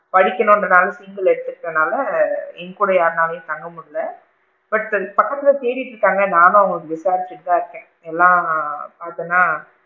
படிக்கனும்க்ரனால, single எடுதுக்கிரதுனால என்கூட யாரும் தங்க முடியல but பக்கத்துல அவுங்க தேடிகிட்டு இருக்காங்க நானும் அவுங்களுக்கு விசாரிச்சிட்டு தான் இருக்கேன் எல்லாம் பாத்துன்னா